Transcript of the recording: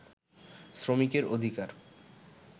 শ্রমিকের অধিকার